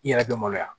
I yɛrɛ bɛ maloya